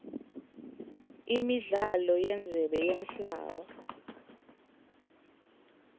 imidlalo yendzebe yemhlaba